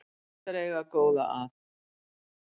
Gott er að eiga góða að.